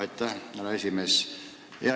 Aitäh, härra esimees!